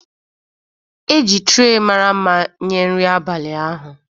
E ji traị mara mma nye nri abalị ahụ.